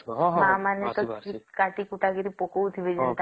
ମା ମାନେ କାଟି କୁଟା କି ପକାଉଥିବେ